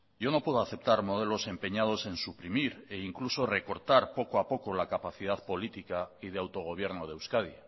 yo no puedo aceptar modelos empeñados en suprimir e incluso recortar poco a poco la capacidad política y de autogobierno de euskadi